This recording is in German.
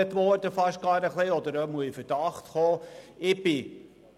Ich wurde nun fast etwas angeprangert oder bin zumindest in Verdacht geraten.